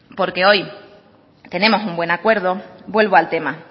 porque hoy tenemos un buen acuerdo vuelvo al tema